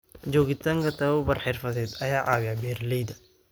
Joogitaanka tababar xirfadeed ayaa caawiya beeralayda.